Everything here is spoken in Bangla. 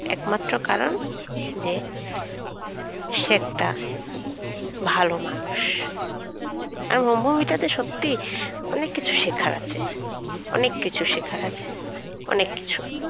একমাত্র কারণ যে সে একটা ভালো মানুষ আর ওই movie সত্যি অনেক কিছু শেখার আছে অনেক কিছু শেখার আছে অনেক কিছু